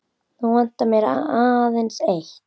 Nú vantar mig aðeins eitt!